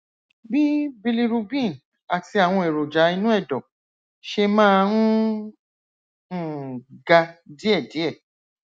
bí bilirubin àti àwọn èròjà inú ẹdọ ṣe máa ń um ga díẹdíẹ